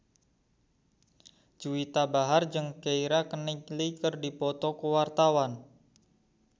Juwita Bahar jeung Keira Knightley keur dipoto ku wartawan